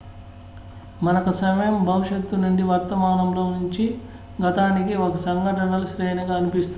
మనకు సమయం భవిష్యత్తు నుండి వర్తమానంలో నుంచి గతానికి ఒక సంఘటనల శ్రేణిగా అనిపిస్తుంది